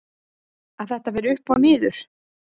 Að þetta fer upp og niður?